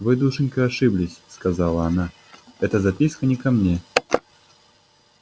вы душенька ошиблись сказала она эта записка не ко мне